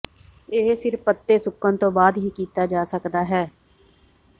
ਇਹ ਸਿਰਫ਼ ਪੱਤੇ ਸੁੱਕਣ ਤੋਂ ਬਾਅਦ ਹੀ ਕੀਤਾ ਜਾ ਸਕਦਾ ਹੈ